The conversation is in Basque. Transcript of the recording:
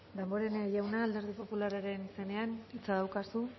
damborenea jauna alderdi popularraren izenean hitza daukazu